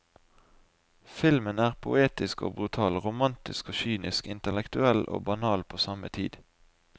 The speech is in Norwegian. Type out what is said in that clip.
Filmen er poetisk og brutal, romatisk og kynisk, intellektuell og banal på samme tid.